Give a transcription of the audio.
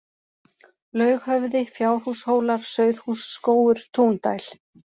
Laughöfði, Fjárhúshólar, Sauðhússkógur, Túndæl